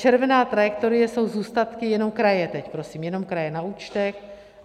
Červená trajektorie jsou zůstatky jenom kraje, teď prosím, jenom kraje, na účtech.